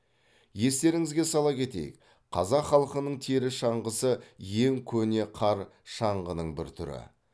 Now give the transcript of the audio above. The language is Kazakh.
естеріңізге сала кетейік қазақ халқының тері шаңғысы ең көне қар шаңғының бір түрі